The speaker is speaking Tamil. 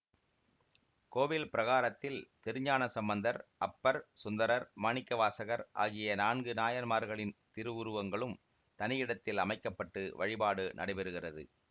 கோவில் பிரகாரத்தில் திருஞானசம்பந்தர் அப்பர் சுந்தரர் மாணிக்கவாசகர் ஆகிய நான்கு நாயன்மார்களின் திருவுருங்களும் தனியிடத்தில் அமைக்க பட்டு வழிபாடு நடைபெறுகிறது